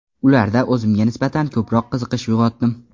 Ularda o‘zimga nisbatan ko‘proq qiziqish uyg‘otdim.